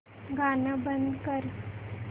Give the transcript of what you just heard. गाणं बंद कर